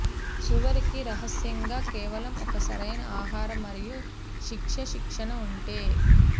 చివరికి రహస్యంగా కేవలం ఒక సరైన ఆహారం మరియు శిక్ష శిక్షణ ఉంటే